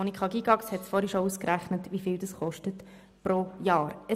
Monika Gygax hat vorhin bereits ausgerechnet, wie viel dies pro Jahr kostet.